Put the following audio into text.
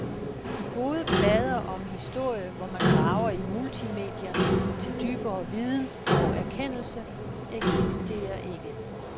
De gode plader om historie, hvor man graver i multimedierne til dybere viden og erkendelse, eksisterer ikke.